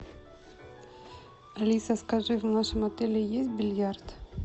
алиса скажи в нашем отеле есть бильярд